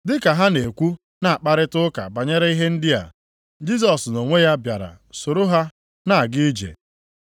Dị ka ha na-ekwu na-akparịta ụka banyere ihe ndị a, Jisọs nʼonwe ya bịara soro ha na-aga ije.